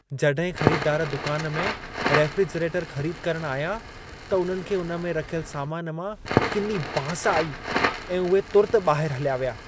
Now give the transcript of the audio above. जॾहिं ख़रीददार दुकान में रेफ़्रिजरेटर ख़रीद करण आया, त उन्हनि खे उन में रखियल सामान मां किनी बांस आई ऐं उहे तुर्त ॿाहिर हलिया विया।